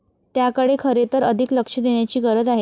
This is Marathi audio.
त्याकडे खरे तर अधिक लक्ष देण्याची गरज आहे.